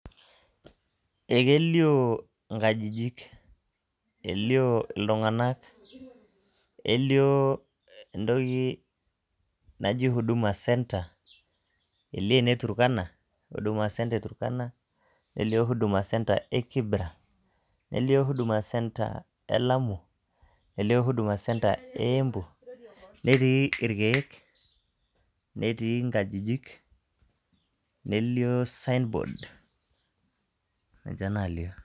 Ekelio inkajijik. Elio iltung'anak, elio intoki naji Huduma Centre, elio ene Turkana, Huduma Centre e Turkana, Huduma Centre e Kibra, nelio Huduma Centre e Lamu, nelio Huduma Centre e Embu, netii irkeek, netii inkajijik, nelio sign board, ninche nalio.